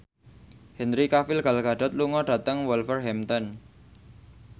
Henry Cavill Gal Gadot lunga dhateng Wolverhampton